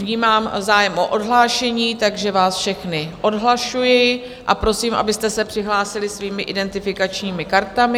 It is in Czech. Vnímám zájem o odhlášení, takže vás všechny odhlašuji a prosím, abyste se přihlásili svými identifikačními kartami.